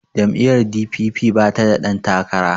jam'iyyar d.p.p bata da ɗantakara